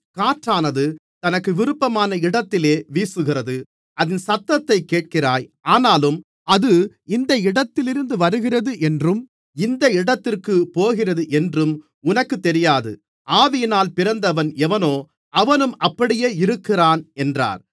காற்றானது தனக்கு விருப்பமான இடத்திலே வீசுகிறது அதின் சத்தத்தைக் கேட்கிறாய் ஆனாலும் அது இந்த இடத்திலிருந்து வருகிறது என்றும் இந்த இடத்திற்குப் போகிறது என்றும் உனக்குத் தெரியாது ஆவியினால் பிறந்தவன் எவனோ அவனும் அப்படியே இருக்கிறான் என்றார்